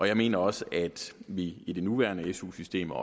jeg mener også at vi i det nuværende su system og